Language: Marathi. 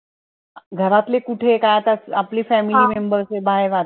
घरातले कुठे काय आता आपले family member बाहेर राहतात.